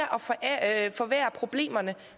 at forværre problemerne